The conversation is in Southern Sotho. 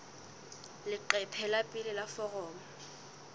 leqephe la pele la foromo